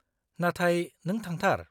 नाथाय नों थांथार।